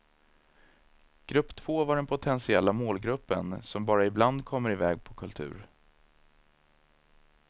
Grupp två var den potentiella målgruppen som bara ibland kommer iväg på kultur.